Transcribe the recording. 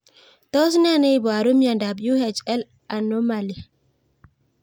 Tos nee neiparu miondop Uhl anomaly?